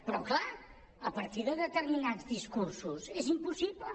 però clar a partir de determinats discursos és impossible